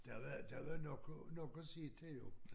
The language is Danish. Der var der var nok at nok at se til jo